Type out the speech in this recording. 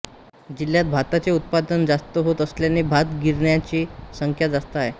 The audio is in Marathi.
जिल्ह्यात भाताचे उत्पादन जास्त होत असल्याने भात गिरण्यांची संख्या जास्त आहे